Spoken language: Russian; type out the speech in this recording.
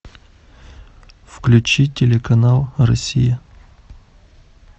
включи телеканал россия